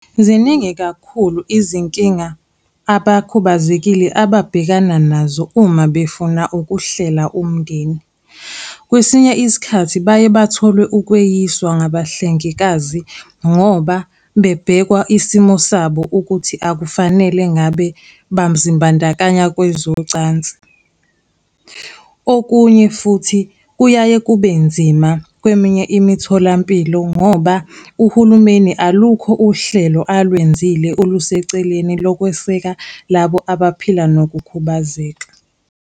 Ziningi kakhulu izinkinga abakhubazekile ababhekana nazo uma befuna ukuhlela umndeni. Kwesinye isikhathi baye bathole ukweyiswa ngabahlengikazi, ngoba bebhekwa isimo sabo ukuthi akufanele ngabe bazimbandakanya kwezocansi. Okunye futhi kuyaye kube nzima kweminye imitholampilo ngoba uhulumeni alukho uhlelo alwenzile oluseceleni lokweseka labo abaphila nokukhubazeka.